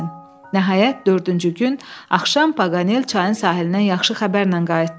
Nəhayət dördüncü gün axşam Paqanel çayın sahilinə yaxşı xəbərlə qayıtdı.